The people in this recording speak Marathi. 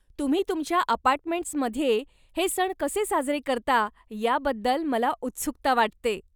तुम्ही तुमच्या अपार्टमेंट्समध्ये हे सण कसे साजरे करता याबद्दल मला उत्सुकता वाटते.